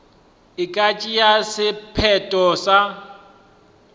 e ka tšea sephetho sa